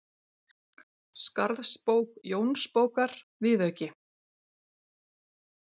Jónssyni, að íslensk stjórnvöld fýsti að stofna til samstarfs við Þjóðverja.